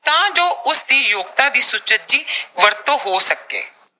ਤਾਂ ਜੋ ਉਸਦੀ ਯੋਗਤਾ ਦੀ ਸੁਚੱਜੀ ਵਰਤੋਂ ਹੋ ਸਕੇ।